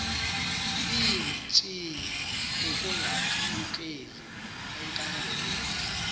iintshiyi ukungakbululeki enkangelekweni